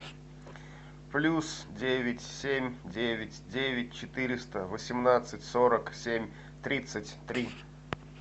плюс девять семь девять девять четыреста восемнадцать сорок семь тридцать три